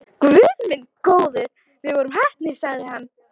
Guð minn góður, við vorum heppnir sagði hann.